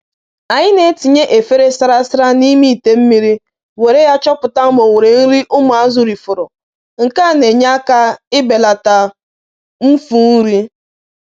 Anyị na-eji trays na-enye nri na tankị iji mata ihe ndị fọdụrụ ma belata ihe ịla nri n'iyi.